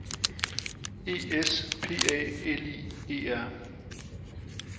E S P A L I E R